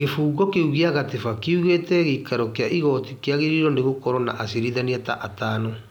Gĩbungo kĩu gĩa gatiba kiugĩte gĩikaro kĩa igoti kĩagĩrĩire gũkorwo na acirithania ta atano.